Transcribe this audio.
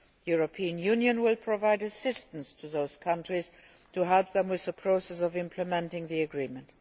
The European Union will provide assistance to those countries to help them with the process of implementing the agreement.